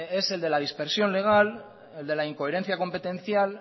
es el de la dispersión legal el de la incoherencia competencial